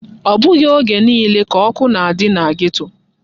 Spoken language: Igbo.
Ọ bụghị oge niile ka ọkụ na-adị na geto.